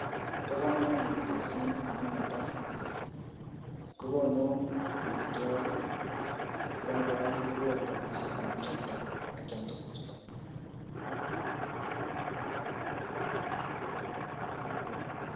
bo kamanut kasini amu netai kokonu amitwogik ak nebo aeng kokonu faida amu kioldoi ak keamtuguk chuto